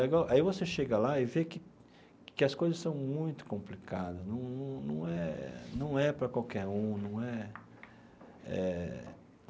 Aí aí você chega lá e vê que que as coisas são muito complicadas, num num num é num é para qualquer um num é eh.